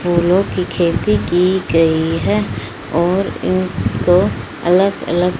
फूलों की खेती की गई है और एक दो अलग अलग--